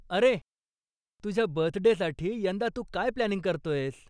अरे, तुझ्या बर्थडेसाठी यंदा तू काय प्लॅनिंग करतोयस?